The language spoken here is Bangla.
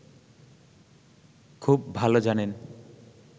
খুব ভালো জানেন